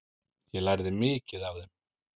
Ég lærði mikið af þeim.